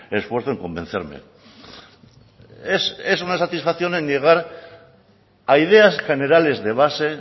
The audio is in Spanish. esfuerzo en convencerme es una satisfacción en llegar a ideas generales de base